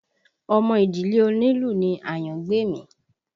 Ọmọ ìdílé onílù ni Àyángbèmí